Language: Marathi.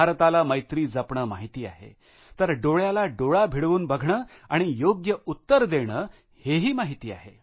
भारताला मैत्री जपणे माहित आहे तर डोळ्याला डोळा भिडवून बघणे आणि योग्य उत्तर देणे हेही माहित आहे